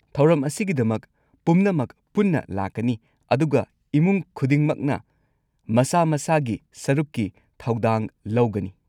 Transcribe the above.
ꯊꯧꯔꯝ ꯑꯁꯤꯒꯤꯗꯃꯛ ꯄꯨꯝꯅꯃꯛ ꯄꯨꯟꯅ ꯂꯥꯛꯀꯅꯤ, ꯑꯗꯨꯒ ꯏꯃꯨꯡ ꯈꯨꯗꯤꯡꯃꯛꯅ ꯃꯁꯥ-ꯃꯁꯥꯒꯤ ꯁꯔꯨꯛꯀꯤ ꯊꯧꯗꯥꯡ ꯂꯧꯒꯅꯤ꯫